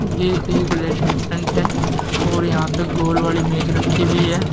ये एक रेस्टोरेंट है और यहां पे गोल वाली मेज रखी हुई है।